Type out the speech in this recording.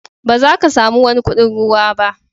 Ba za ka samu wani kuɗin ruwa ba.